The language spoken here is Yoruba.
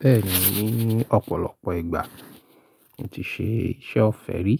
Bẹ́ẹ̀ni, ní ọ̀pọ̀lọpọ̀ ìgbà n ti ṣe iṣẹ́ ọ́fẹ̀ẹ́ rí,